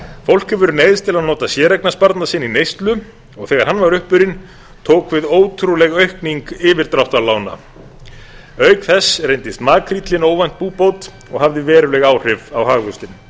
fólk hefur neyðst til að nota séreignarsparnað sinn í neyslu og þegar hann var upp sinn tók við ótrúleg aukning yfirdráttarlána auk þess reyndist makríllinn óvænt búbót og hafði veruleg áhrif á hagvöxtinn